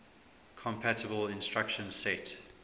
compatible instruction set